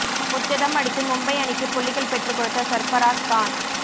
முச்சதம் அடித்து மும்பை அணிக்கு புள்ளிகள் பெற்றுக் கொடுத்த சர்பராஸ் கான்